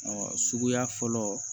Ɔ suguya fɔlɔ